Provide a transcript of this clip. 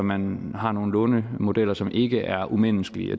man har nogle lånemodeller som ikke er umenneskelige